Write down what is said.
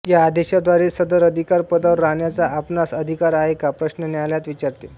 या आदेशाद्वारे सदर अधिकार पदावर राहण्याचा आपणांस अधिकार आहे का प्रश्न न्यायालय विचारते